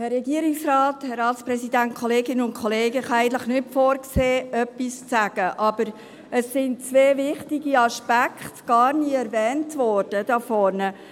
Ich hatte eigentlich nicht vorgesehen, etwas zu sagen, aber es wurden zwei wichtige Aspekte gar nie erwähnt hier vorne.